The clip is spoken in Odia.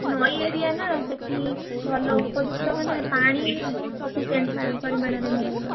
ନଇ area ନା ସେଠି ଭଲ ଉପଯୁକ୍ତ ମାନେ ପାଣି ବହୁତ sufficient ପରିମାଣରେ ମିଳିବ।